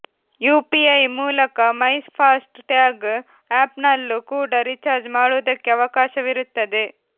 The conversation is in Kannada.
ಯುಪಿಐ ಮೂಲಕ ಮೈ ಫಾಸ್ಟ್ ಟ್ಯಾಗ್ ಆಪ್ ನಲ್ಲೂ ಕೂಡ ರೀಚಾರ್ಜ್ ಮಾಡುವುದಕ್ಕೆ ಅವಕಾಶವಿರುತ್ತದೆ